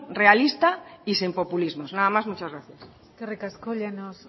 realista y sin populismos nada más muchas gracias eskerrik asko llanos